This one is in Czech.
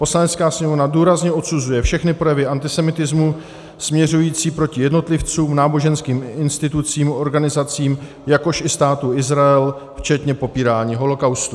"Poslanecká sněmovna důrazně odsuzuje všechny projevy antisemitismu směřující proti jednotlivcům, náboženským institucím, organizacím, jakož i Státu Izrael, včetně popírání holocaustu."